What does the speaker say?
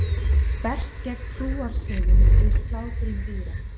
Berst gegn trúarsiðum við slátrun dýra